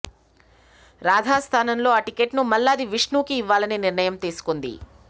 రాధా స్థానంలో ఆ టిక్కెట్ ను మల్లాది విష్ణుకు ఇవ్వాలని నిర్ణయం తీసుకుంది